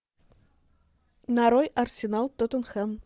нарой арсенал тоттенхэм